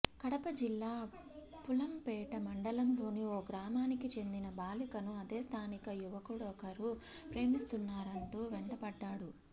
కడప జిల్లా పుల్లంపేట మండలంలోని ఓ గ్రామానికి చెందిన బాలికను అదే స్థానిక యువకుడొకరు ప్రేమిస్తున్నానంటూ వెంటపడ్డాడు